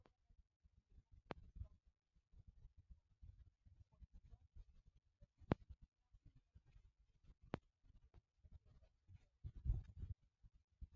di organisation dey work with local communities for di country for di grassroots level helping young pipo wey dey affected by hivaids